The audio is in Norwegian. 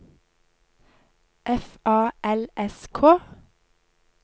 F A L S K